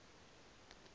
osts i vhea phan ḓa